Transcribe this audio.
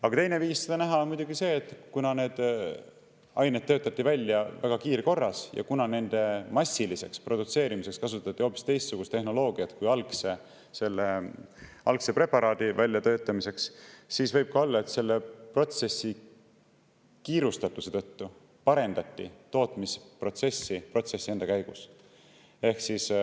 Aga teine viis seda näha on muidugi see, et kuna need ained töötati välja kiirkorras ja nende massiliseks produtseerimiseks kasutati hoopis teistsugust tehnoloogiat kui selle algse preparaadi väljatöötamiseks, siis võib ka olla, et protsessi kiirustatuse tõttu parendati tootmisprotsessi protsessi enda käigus.